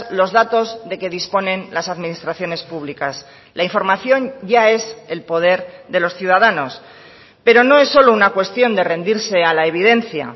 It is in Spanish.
los datos de que disponen las administraciones públicas la información ya es el poder de los ciudadanos pero no es solo una cuestión de rendirse a la evidencia